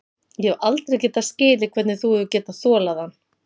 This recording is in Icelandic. Ég hef aldrei getað skilið hvernig þú hefur getað þolað hann.